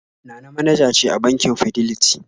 Nana manaja ce a bankin Fidelity